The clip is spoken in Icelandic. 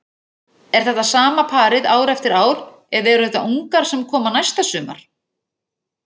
Er þetta sama parið ár eftir ár eða eru þetta ungar sem koma næsta sumar?